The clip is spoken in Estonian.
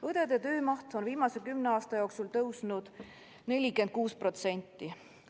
Õdede töömaht on viimase 10 aasta jooksul tõusnud 46%.